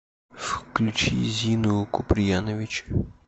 включи зину куприянович